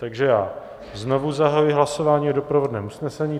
Takže já znovu zahajuji hlasování o doprovodném usnesení.